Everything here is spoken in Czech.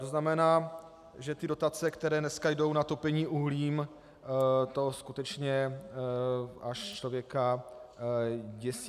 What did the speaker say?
To znamená, že ty dotace, které dneska jdou na topení uhlím, to skutečně až člověka děsí.